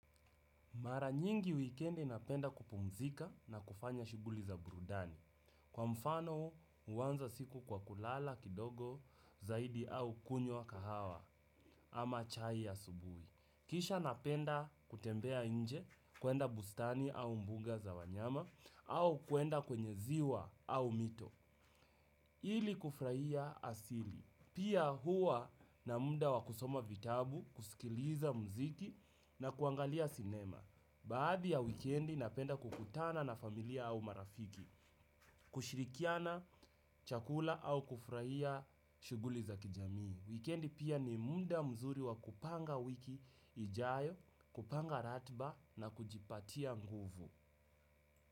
Mara nyingi wikendi napenda kupumzika na kufanya shuguli za burudani. Kwa mfano uanza siku kwa kulala kidogo zaidi au kunywa kahawa ama chai asubuhi. Kisha napenda kutembea inje kuenda bustani au mbuga za wanyama au kuenda kwenye ziwa au mito. Ili kufuraia asili. Pia huwa na muda wa kusoma vitabu, kusikiliza mziki na kuangalia sinema. Baadhi ya wikendi napenda kukutana na familia au marafiki, kushirikiana chakula au kufuraia shuguli za kijamii. Wikendi pia ni muda mzuri wa kupanga wiki ijayo, kupanga ratiba na kujipatia nguvu.